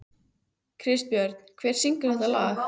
Kristbjörn, hver syngur þetta lag?